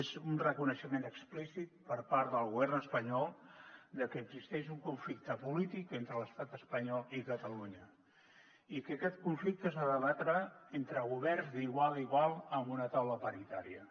és un reconeixement explícit per part del govern espanyol de que existeix un conflicte polític entre l’estat espanyol i catalunya i que aquest conflicte s’ha de debatre entre governs d’igual a igual amb una taula paritària